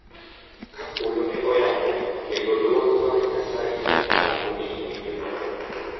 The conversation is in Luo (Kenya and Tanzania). Ka polo ne oyawore, kendo dwol mar Nyasaye ne olando ni oyie kode.